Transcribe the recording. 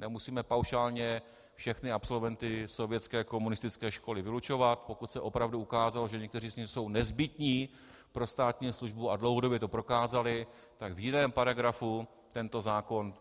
Nemusíme paušálně všechny absolventy sovětské komunistické školy vylučovat, pokud se opravdu ukázalo, že někteří z nich jsou nezbytní pro státní službu a dlouhodobě to prokázali, tak v jiném paragrafu tento zákon